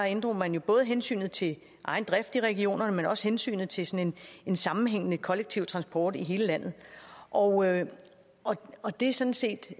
inddrog man jo både hensynet til egen drift i regionerne men også hensynet til sådan en sammenhængende kollektiv transport i hele landet og og det er sådan set